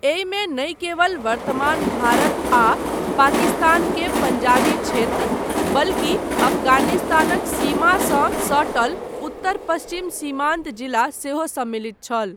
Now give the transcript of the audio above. एहिमे नहि केवल वर्तमान भारत आ पाकिस्तान के पंजाबी क्षेत्र, बल्कि अफगानिस्तानक सीमासँ सटल उत्तर पश्चिम सीमान्त जिला सेहो सम्मलित छल।